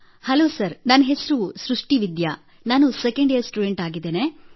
hello sir ನನ್ನ ಹೆಸರು ಸೃಷ್ಟಿ ವಿದ್ಯಾ ನಾನು 2nd ಯಿಯರ್ ಸ್ಟುಡೆಂಟ್ ಆಗಿದ್ದೇನೆ